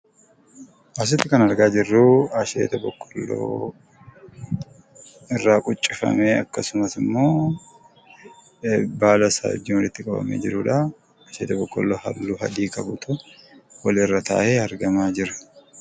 Asitti kan argaa jirruu, asheeta boqolloo irraa quncifamee akkasumas immoo baala isaa wajjin walitti qabamee jirudha. Asheeta boqolloo halluu adii qabudha Kun walirra taa'ee argamaa jira.